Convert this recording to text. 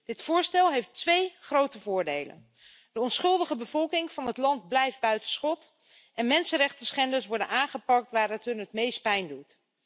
Dit voorstel heeft twee grote voordelen de onschuldige bevolking van het land blijft buiten schot en de mensenrechtenschenders worden aangepakt waar het hun het meest pijn doet.